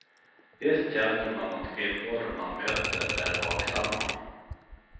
Visst känner man att kvinnor man möter är vaksamma.